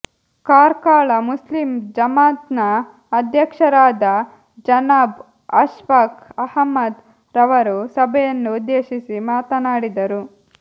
Karkala Muslim Jamaat ನ ಅಧ್ಯಕ್ಷರಾದ ಜನಾಬ್ ಅಶ್ಫಾಕ್ ಅಹ್ಮದ್ ರವರು ಸಭೆಯನ್ನು ಉದ್ದೇಶಿಸಿ ಮಾತನಾಡಿದರು